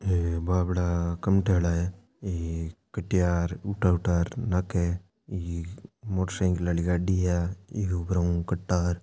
है बापड़ा कमठयाला है है कट्या र उठा उठा र नाके एक मोटरसईकल आली गाड़ी है आ इक उपराऊ कटार --